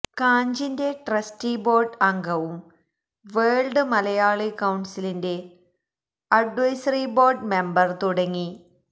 കാഞ്ചിന്റെ trustee board അംഗവും world Malayali കൌൺസിലിന്റെ advisory board member തുടങ്ങി